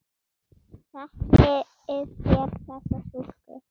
Þekkið þér þessa stúlku?